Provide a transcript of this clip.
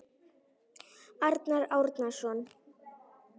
Arnar Árnason